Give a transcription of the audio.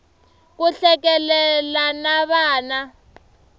ku hlekelela na vana